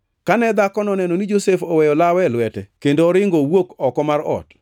Kane dhakono oneno ni Josef oweyo lawe e lwete kendo oringo owuok oko mar ot,